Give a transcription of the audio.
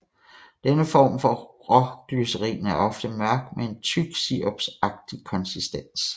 Denne form for råglycerin er ofte mørk med en tyk sirupsagtig konsistens